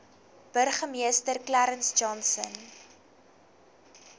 burgemeester clarence johnson